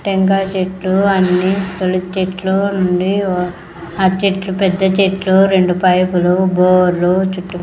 టెంకాయ చెట్లు అన్నీ ఇత్తుల చెట్లు ఉండి ఆహ్ చెట్లు పెద్ద చెట్లు రెండు పైప్లు బోరు చూట్టు --